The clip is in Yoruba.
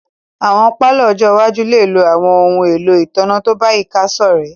Awọn palọ ọ́jọ iwaju le lo awọn ohun elo itanna to bayika sorẹ̀